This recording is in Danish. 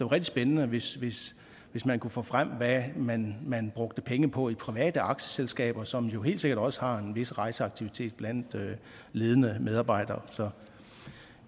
rigtig spændende hvis hvis man kunne få frem hvad man man brugte penge på i private aktieselskaber som jo helt sikkert også har en vis rejseaktivitet blandt ledende medarbejdere så